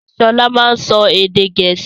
Sọlá máa n sọ èdè gẹ̀ẹ́sì